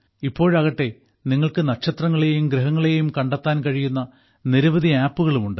ഇപ്പോഴാകട്ടെ നിങ്ങൾക്ക് നക്ഷത്രങ്ങളെയും ഗ്രഹങ്ങളെയും കണ്ടെത്താൻ കഴിയുന്ന നിരവധി ആപ്പുകളും ഉണ്ട്